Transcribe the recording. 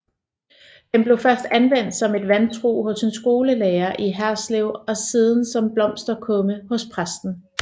Den blev først anvendt som et vandtrug hos en skolelærer i Herslev og siden som blomsterkumme hos præsten